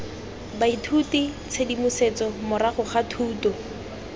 baithuti tshedimosetso morago ga thuto